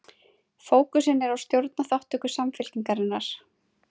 Fókusinn er á stjórnarþátttöku Samfylkingarinnar